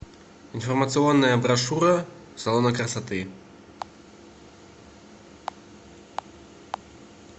информационная брошюра салона красоты